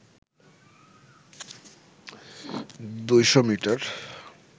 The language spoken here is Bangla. ২০০ মিটার